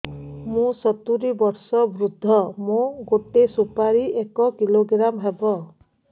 ମୁଁ ସତୂରୀ ବର୍ଷ ବୃଦ୍ଧ ମୋ ଗୋଟେ ସୁପାରି ଏକ କିଲୋଗ୍ରାମ ହେବ